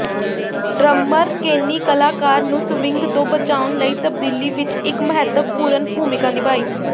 drummer Kenny Clarke ਨੂੰ swing ਤੋਂ ਬਚਾਉਣ ਲਈ ਤਬਦੀਲੀ ਵਿਚ ਇਕ ਮਹੱਤਵਪੂਰਣ ਭੂਮਿਕਾ ਨਿਭਾਈ